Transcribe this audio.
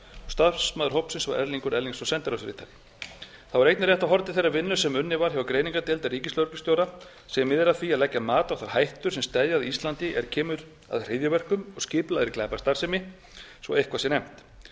starfsmaður hópsins var erlingur erlingsson sendiráðsritari þá er einnig rétt að horfa til þeirrar vinnu sem unnin var hjá greiningardeild ríkislögreglustjóra sem miðar að því að leggja mat á þær hættur sem steðja að íslandi er kemur að hryðjuverkum og skipulagðri glæpastarfsemi svo eitthvað sé nefnt að